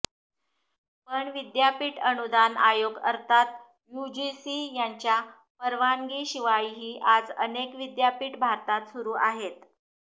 पण विद्यापीठ अनुदान आयोग अर्थात यूजीसी यांच्या परवानगीशिवायही आज अनेक विद्यापीठं भारतात सुरु आहेत